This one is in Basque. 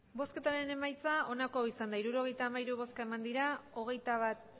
emandako botoak hirurogeita hamairu bai hogeita bat